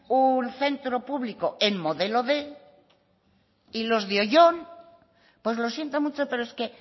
ahí un centro público en modelo quinientos y los de oyón pues lo siento mucho pero es que